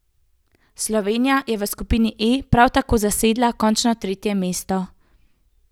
Slovenija je v skupini E prav tako zasedla končno tretje mesto.